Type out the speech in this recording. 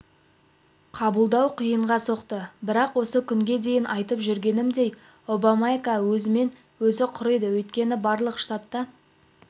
қабылдау қиынға соқты бірақ осы күнге дейін айтып жүргенімдей обамакэйа өзімен-өзі құриды өйткені барлық штатта